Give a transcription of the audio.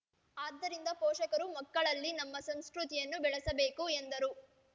ಆದ್ದರಿಂದ ಪೋಷಕರು ಮಕ್ಕಳಲ್ಲಿ ನಮ್ಮ ಸಂಸ್ಕೃತಿಯನ್ನು ಬೆಳೆಸಬೇಕು ಎಂದರು